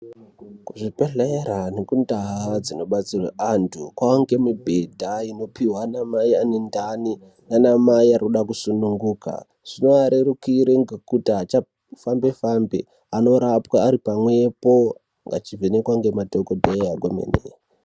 Kuzvibhedhlera nekundaa dzinobatsirwa antu kwakuwanikwa mibhedha unopihwa ana mai ane ndani nana mai arikuda kusununguka zvinovarwrukira ngekuti avafambe fambe vanorapwa varipwepo vachivhenekwa nemadhokoteya kwemene.